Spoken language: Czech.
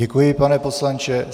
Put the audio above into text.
Děkuji, pane poslanče.